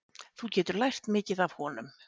Þú getur lært mikið af honum.